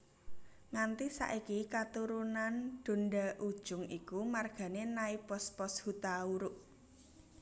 Nganti saiki katurunan Donda Ujung iku margané Naipospos Hutauruk